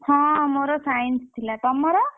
ହଁ ମୋର Science ଥିଲା ତମର?